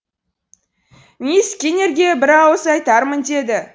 мисс скиннерге бір ауыз айтармын деді